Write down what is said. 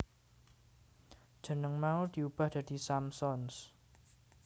Jeneng mau diubah dadi Samsons